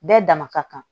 Bɛɛ dama ka kan